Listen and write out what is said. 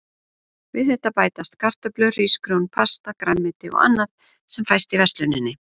Við þetta bætast kartöflur, hrísgrjón, pasta, grænmeti og annað sem fæst í versluninni.